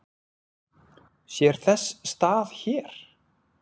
Sér þess stað hér?